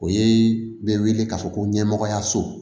O ye bɛ wele k'a fɔ ko ɲɛmɔgɔyaso